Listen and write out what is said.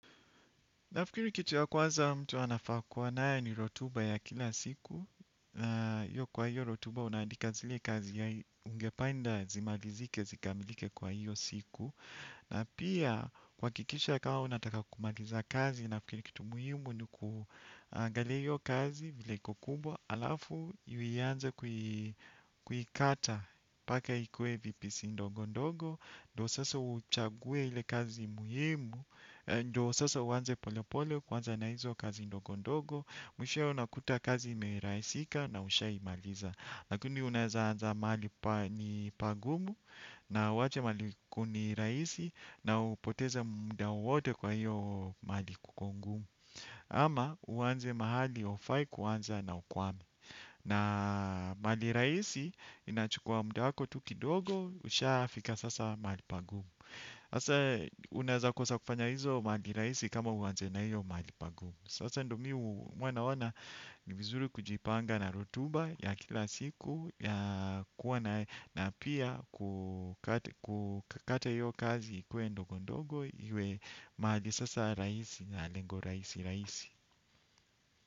Nafikiri kitu ya kwanza mtu anafaa kuwa nayo ni rotuba ya kila siku. Yo kwa hiyo rotuba unaadika zile kazi ya ungependa zimalizike, zikamilike kwa hiyo siku. Na pia kuhakikisha kama unataka kumaliza kazi nafikiri kitu muhimu ni kuangalia hiyo kazi vile iko kubwa. Alafu, uianze kuikata mpaka ikuwe vipisi ndogo ndogo. Ndo sasa uchague ile kazi muhimu. Ndo sasa uanze pole pole kwanza na hizo kazi ndogo ndogo. Mshishowe unakuta kazi merahisika na ushaimaliza. Lakini unaeza anza mahali ni pagumu na uwache mahali ku ni rahisi. Na upoteze muda wote kwa hiyo mahali kuko ngumu. Ama uanze mahali hufai kuanza na ukwame. Na mahali rahisi inachukua muda wako tu kidogo. Ushafika sasa mahali pagumu. Sasa unaezakosa kufanya hizo mahali rahisi kama uanze na hiyo mahali pagumu. Sasa ndo mi huwa naona ni vizuri kujipanga na rotuba ya kila siku ya kuwa na na pia kukata hiyo kazi ikuwe ndogo ndogo. Iwe mahali sasa rahisi na lengo rahisi rahisi.